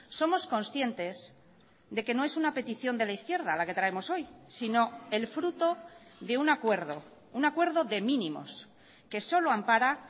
somos conscientes de que no es una petición de la izquierda la que traemos hoy sino el fruto de un acuerdo un acuerdo de mínimos que solo ampara